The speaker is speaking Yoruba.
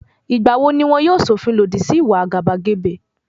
Ìgbà wo ni wọn yóò ṣọ̀fin lòdì sí ìwà àgàbàgebè?